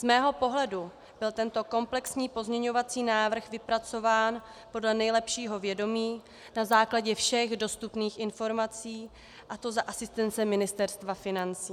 Z mého pohledu byl tento komplexní pozměňovací návrh vypracován podle nejlepšího vědomí na základě všech dostupných informací, a to za asistence Ministerstva financí.